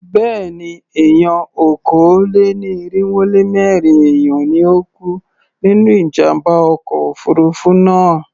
Béèni, èèyàn okòó-lé-ní-irínwó-lé-mẹ́rin èèyàn ni ó kú nínú ìjàmbá ọkọ̀ òfurufú náà.